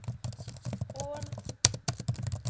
Ål